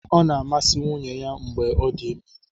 Ọ na-amasị nwunye ya mgbe ọ dị ime.